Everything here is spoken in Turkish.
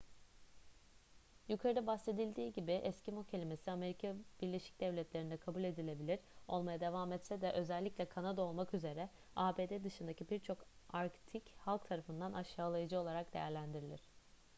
yukarıda bahsedildiği gibi eskimo kelimesi amerika birleşik devletleri'nde kabul edilebilir olmaya devam etse de özellikle kanada olmak üzere abd dışındaki birçok arktik halk tarafından aşağılayıcı olarak değerlendirilir